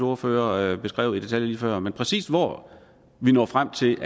ordfører beskrev i detaljer lige før men præcis hvor vi når frem til